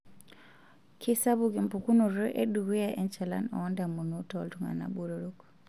Keisapuk empukunoto edukuya enchalan oondamunot tooltunganan botorok.